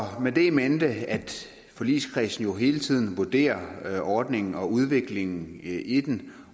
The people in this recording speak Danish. med det in mente at forligskredsen jo hele tiden vurderer ordningen og udviklingen i den